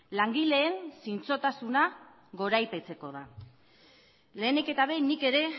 langileen zintzotasuna goraipatzeko da lehenik eta behin nik ere